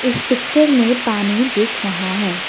इस पिक्चर में पानी दिख रहा है।